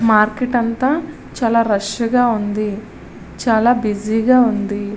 Market అంతా చాలా rush గా ఉంది చాలా బిజీ గా ఉంది.